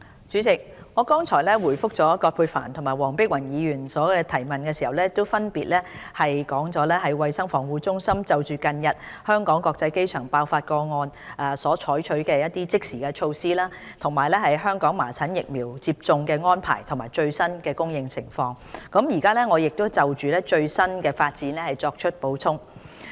主席，我剛才回覆葛珮帆議員及黃碧雲議員的質詢時，分別闡述了衞生防護中心就近日香港國際機場爆發麻疹個案所採取的措施，以及香港麻疹疫苗接種的安排及最新的供應情況，現就最新發展作出補充。